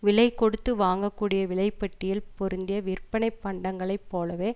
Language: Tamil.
விலை கொடுத்து வாங்கக்கூடிய விலை பட்டியல் பொருத்திய விற்பனைப் பண்டங்களைப் போலவே